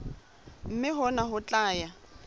mme hona ho tla ya